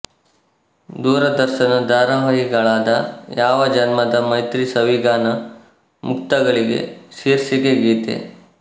ದೂರದರ್ಶನ ಧಾರಾವಾಹಿಗಳಾದ ಯಾವ ಜನ್ಮದ ಮೈತ್ರಿ ಸವಿಗಾನ ಮುಕ್ತಗಳಿಗೆ ಶೀರ್ಷಿಕೆ ಗೀತೆ